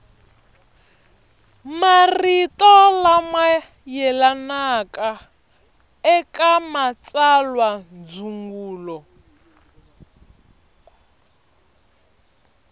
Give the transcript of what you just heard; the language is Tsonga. marito lama yelanaka eka matsalwandzungulo